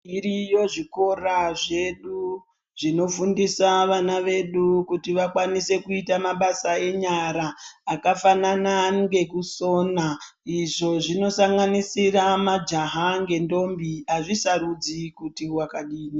Zviriyo zvikora zvedu zvinofundisa vana vedu kuti vakwanise kuite mabasa enyara. Akafanana nekusona izvo zvinosanganisira majaha nedhombi, azvisarudzi kuti wakadini.